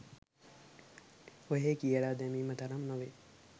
ඔහේ කියල දැමීම තරම් නොවේ.